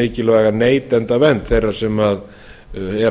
mikilvæga neytendavernd þeirra sem eru að